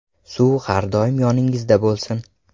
Suv har doim yoningizda bo‘lsin!